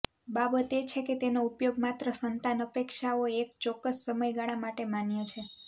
બાબત એ છે કે તેનો ઉપયોગ માત્ર સંતાન અપેક્ષાઓ એક ચોક્કસ સમયગાળા માટે માન્ય છે